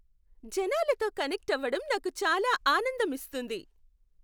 జనాలతో కనెక్ట్ అవ్వడం నాకు చాలా ఆనందం ఇస్తుంది.